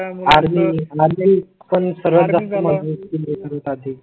army पण सर्वात जास्त